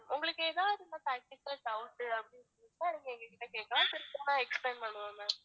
உங்களுக்கு எதாவது இந்த package ல doubt அப்படி இருந்தா எங்க கிட்ட கேக்கலாம் திரும்பவும் explain பண்ணுவோம் ma'am